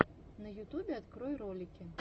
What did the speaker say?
на ютубе открой ролики